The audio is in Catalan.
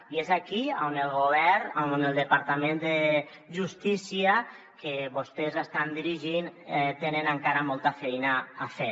i és aquí on el govern on el departament de justícia que vostès estan dirigint té encara molta feina a fer